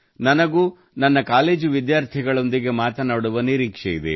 ನನಗೂ ನನ್ನ ಕಾಲೇಜು ವಿದ್ಯಾರ್ಥಿಗಳೊಂದಿಗೆ ಮಾತನಾಡುವ ನಿರೀಕ್ಷೆಯಿದೆ